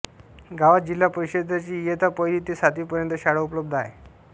गावात जिल्हा परिषद ची इयत्ता पहिली ते सातवी पर्यंत शाळा उपलब्ध आहे